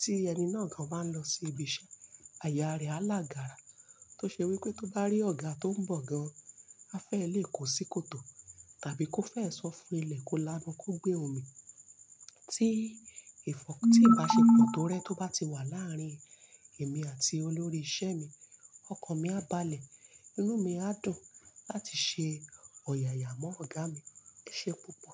Tí ẹni náà gan máa lọ sí ibi iṣẹ́, aya rẹ̀ á làgàrà tó ṣe wípé tó bá rí ọ̀gá tó ń bọ̀ gan, á fẹ́ lè kó sí kòtò tàbí kó fẹ́ sọ fún ilẹ̀ kó lábọ́ kó gbé omi. Tí ìfọ̀-- tí ìbáṣepọ̀ tó rẹ́ tó bá ti wà láàárín èmi àti olórí iṣẹ́ mi, ọkàn mi á balẹ̀, inú mi á dùn láti ṣe ọ̀yàyà mọ́ ọ̀gá mi. Ó ṣe púpọ̀